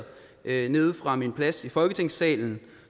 nede nede fra min plads i folketingssalen